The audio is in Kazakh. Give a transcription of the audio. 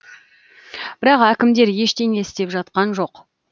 бірақ әкімдер ештеңе істеп жатқан жоқ